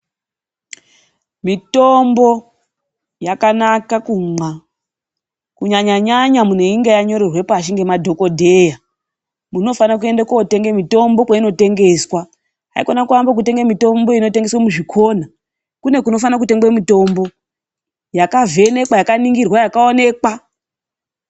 Mitombo yakanaka kumwa. Kunyanya nyanya muntu einge wanyorerwe pashi ngemadhokodheya. Muntu unofanire kuende kotenga mitombo kwainotengeswe muzvikona. Haikona kuamba kutenga mitombo inotengeswa muzvikona. Kune kunofana kutengwa mitombo yakavhenekwa, yakaningirwa yakaonekwa.